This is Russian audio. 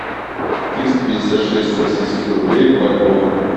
триста пятьдесят шесть российских рублей в бальбоа